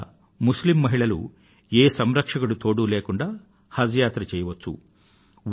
ఇవాళ ముస్లిమ్ మహిళలు ఏ సంరక్షకుడి తోడూ లేకుండా హజ్ యాత్ర చేయవచ్చు